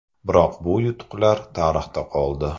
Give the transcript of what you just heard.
Biroq bu yutuqlar tarixda qoldi.